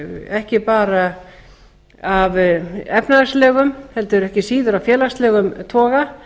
ekki bara á efnahagslegum heldur ekki síður á félagslegum toga